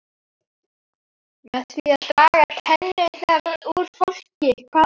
Með því að draga tennurnar úr fólki, hvað annað!